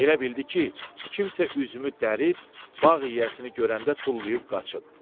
Elə bildi ki, kimsə üzümü dərib bağ yiyəsini görəndə tullayıb qaçıb.